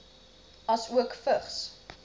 asook vigs